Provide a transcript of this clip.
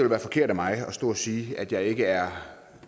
være forkert af mig at stå og sige at jeg ikke er